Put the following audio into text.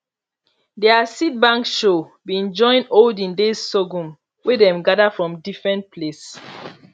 their seed bank show been join olden days sorghum wey dem gather from different place